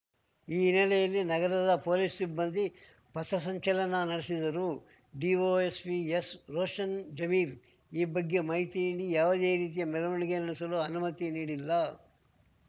ಈ ಹಿನ್ನೆಲೆಯಲ್ಲಿ ನಗರದ ಪೊಲೀಸ್‌ ಸಿಬ್ಬಂದಿ ಪಥಸಂಚಲನ ನಡೆಸಿದರು ಡಿವೈಎಸ್ಪಿ ಎಸ್‌ರೋಷನ್‌ ಜಮೀರ್ ಈ ಬಗ್ಗೆ ಮಾಹಿತಿ ನೀಡಿ ಯಾವುದೇ ರೀತಿಯ ಮೆರವಣಿಗೆ ನಡೆಸಲು ಅನುಮತಿ ನೀಡಿಲ್ಲ